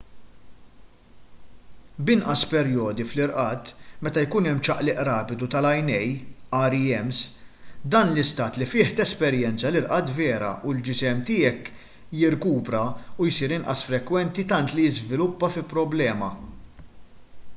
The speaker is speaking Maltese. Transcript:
b'inqas perjodi fl-irqad meta jkun hemm ċaqliq rapidu tal-għajnejn rems dan l-istat li fih tesperjenza l-irqad vera u l-ġisem tiegħek jirkupra jsir inqas frekwenti tant li jiżviluppa fi problema